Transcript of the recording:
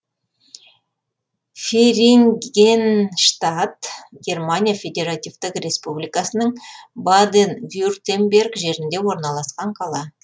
ферингенштадт германия федеративтік республикасының баден вюртемберг жерінде орналасқан қала